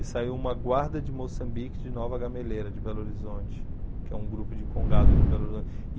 E saiu Uma Guarda de Moçambique de Nova Gameleira, de Belo Horizonte, que é um grupo de congado de Belo Horizonte.